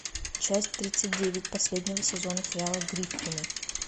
часть тридцать девять последнего сезона сериала гриффины